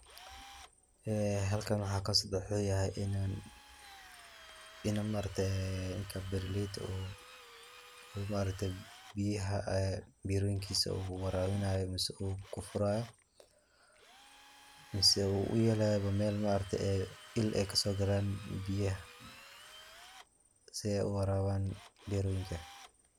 Halkan waxaa kasocdaa waxaa weeyan, in ninkan beeraleyda ah uu biyaha beeroyinkiisa waraabinaayo mise uu kufuraayo, mise uu uyeelayo meel il aay kasoo galaan biyaha, si aay uwaraaban beeroyinka.